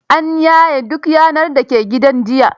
An yane duk yanar da ke gidan jiya.